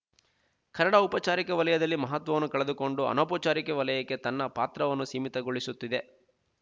ಕನ್ನಡ ಔಪಚಾರಿಕ ವಲಯದಲ್ಲಿ ಮಹತ್ವವನ್ನು ಕಳೆದುಕೊಂಡು ಅನೌಪಚಾರಿಕ ವಲಯಕ್ಕೆ ತನ್ನ ಪಾತ್ರವನ್ನು ಸೀಮಿತಗೊಳಿಸಿಕೊಳ್ಳುತ್ತಿದೆ